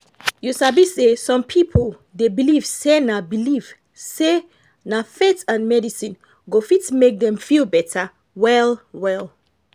you sabi say some people dey believe say na believe say na faith and medicine go fit make dem feel better well well.